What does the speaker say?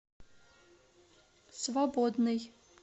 свободный